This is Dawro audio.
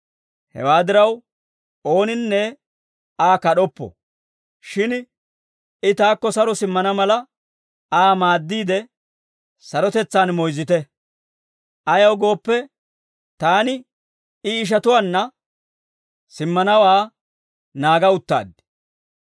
Hewaa diraw, ooninne Aa kad'oppo. Shin I taakko saro simmana mala, Aa maaddiide sarotetsaan moyzzite. Ayaw gooppe, taani I ishatuwaanna simmanawaa naaga uttaad.